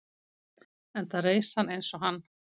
enda reis hann eins og hann